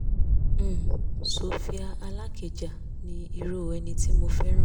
um sophie alakija ni irú ẹni tí mo fẹ́ràn